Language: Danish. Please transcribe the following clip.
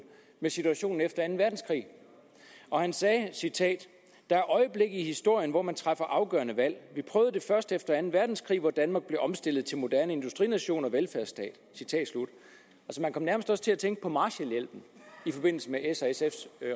med situationen efter anden verdenskrig han sagde og jeg citerer der er øjeblikke i historien hvor man træffer afgørende valg vi prøvede det først efter anden verdenskrig hvor danmark blev omstillet til moderne industrination og velfærdsstat man kom nærmest også til at tænke på marshallhjælpen i forbindelse med s og sfs